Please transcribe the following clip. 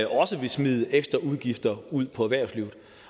også vil smide ekstra udgifter ud på erhvervslivet